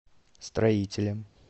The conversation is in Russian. строителем